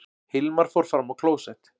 Hilmar fór fram á klósett.